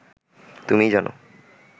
তুমিই জান